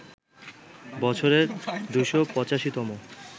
বছরের ২৮৫ তম